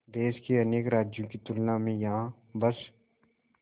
देश के अनेक राज्यों की तुलना में यहाँ बस